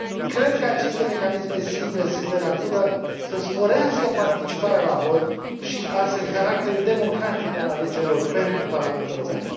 Cred că aceste mecanisme simple sunt de natură să sporească participarea la vot și, astfel, caracterul democratic al alegerilor pentru Parlamentul European.